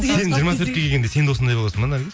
сен жиырма төртке келгенде сен де осындай боласың ба наргиз